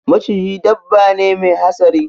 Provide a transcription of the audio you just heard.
Maciji dabba ne Mai hatsari.